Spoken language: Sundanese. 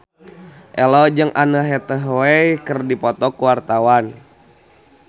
Ello jeung Anne Hathaway keur dipoto ku wartawan